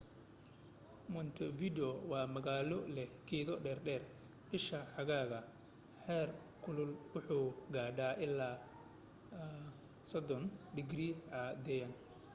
montevideo waa magaalo leh geedo dhadheer; bisha xagaaga heer kulku wuxuu gaadhaa ilaa +30°c caadiyan